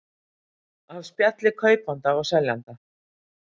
Af spjalli kaupanda og seljanda